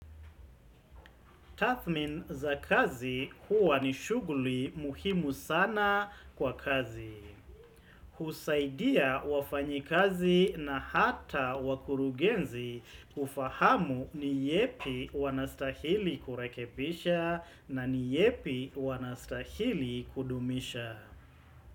Tathmini za kazi huwa ni shughuli muhimu sana kwa kazi. Husaidia wafanyi kazi na hata wakurugenzi kufahamu ni yapi wanastahili kurekebisha na ni yepi wanastahili kudumisha.